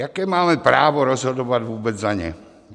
Jaké máme právo rozhodovat vůbec za ně?